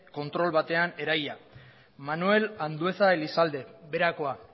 kontrol batean eraila manuel andueza elizalde berakoa